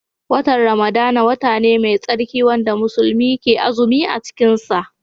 Watan Ramadana wata ne mai tsarki wanda musulmai ke azumi cikin sa